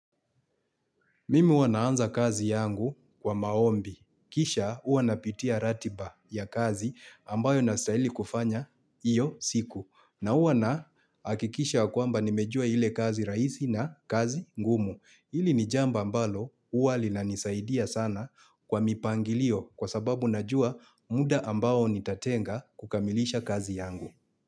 Mimi huwa naanza kazi yangu kwa maombi. Kisha huwa napitia ratiba ya kazi ambayo nastahili kufanya hiyo siku. Na huwa nahakikisha ya kwamba nimejua ile kazi rahisi na kazi ngumu. Hili nijambo ambalo huwa linanisaidia sana kwa mipangilio kwa sababu najua muda ambao nitatenga kukamilisha kazi yangu.